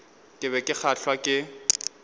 ke be ke kgahlwa ke